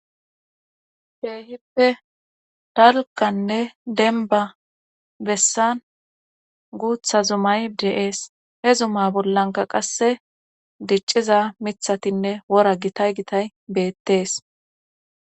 Keehippe dalgganne denba bessan guutha zumay de7ees he zuma bollanka qasse dicciza mithatinne wora gitay gitay beettees